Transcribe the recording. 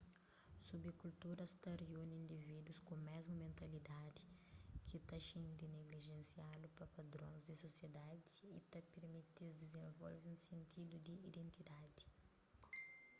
subkulturas ta riune indivídus ku mésmu mentalidadi ki ta xinti niglijensiadu pa padrons di sosiedadi y ta pirmiti-s dizenvolve un sentidu di identidadi